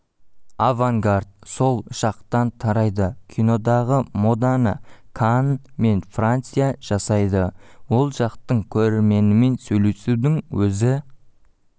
авангард сол жақтан тарайды кинодағы моданы канн мен франция жасайды ол жақтың көрерменімен сөйлесудің өзі